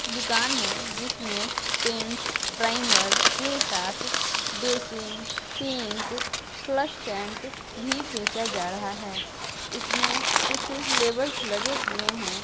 दुकान है जिसमे पेंट्स प्राइमर के साथ बेसिन सिंक फ्लश टैंक भी बेचा जा रहा है। इसमे कुछ लेबर्स लगे हुए है।